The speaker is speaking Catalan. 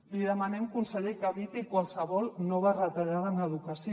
li demanem conseller que eviti qualsevol nova retallada en educació